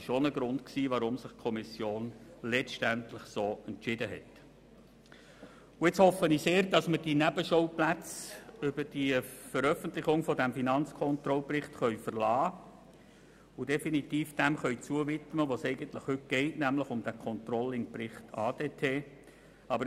Nun hoffe ich, dass wir die Nebenschauplätze über die Veröffentlichung dieses Berichts verlassen und uns definitiv dem widmen können, worum es heute geht, nämlich dem Controlling-Bericht ADT.